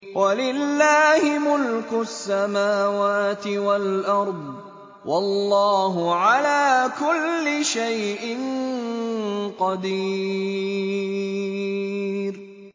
وَلِلَّهِ مُلْكُ السَّمَاوَاتِ وَالْأَرْضِ ۗ وَاللَّهُ عَلَىٰ كُلِّ شَيْءٍ قَدِيرٌ